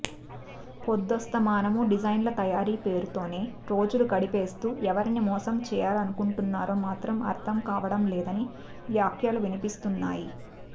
పొద్దస్తమానమూ డిజైన్ల తయారీ పేరుతోనే రోజులు గడిపేస్తూ ఎవరిని మోసం చేయాలనుకుంటున్నారో మాత్రం అర్థం కావడం లేదని వ్యాఖ్యలు వినిపిస్తున్నాయి